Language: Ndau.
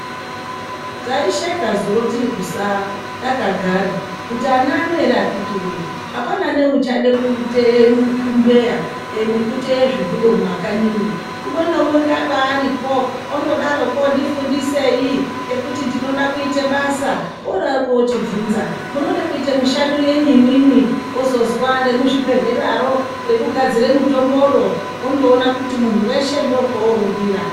Taisheka zuro tiri kusaa takagara kuti, ana ano ere akhiti woye apana neuchade kuteya mbeya nekuteya zvihudo mumakanyimwo. Umwe naumwe paaripo ondodaroko, ndifundisei ngekuti ndinode kuita basa, odaroko ochibvunza "munoda kuita mishando yenyi imwimwi?", ozozwa "remuzvibhedhleraro rekugadzira mutombo roo," wondoona kuti munhu weshe ndokwoorumbira.